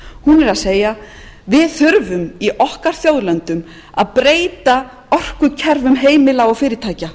hún er að segja við þurfum í okkar þjóðlöndum að breyta orkukerfum heimila og fyrirtækja